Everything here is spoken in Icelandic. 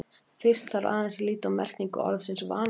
fyrst þarf aðeins að líta á merkingu orðsins „vanabindandi“